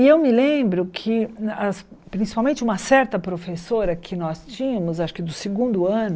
E eu me lembro que, as principalmente uma certa professora que nós tínhamos, acho que do segundo ano,